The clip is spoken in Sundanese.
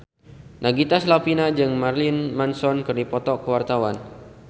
Nagita Slavina jeung Marilyn Manson keur dipoto ku wartawan